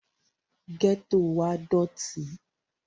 gẹ́tò wa dọ̀tí